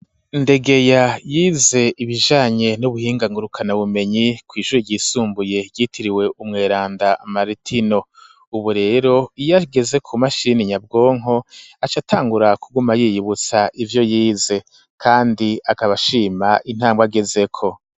Ndegeya yize ibijanye n'ubuhinga ngurukanabumenyi, kw'ishure ryisumbuye ryitiriwe umweranda Maritino, ubu rero iyo ageze ku mashini nyabwonko, aca atangura kuguma yiyibutsa ivyo yize, kandi akaba ashima intambwe agezeko.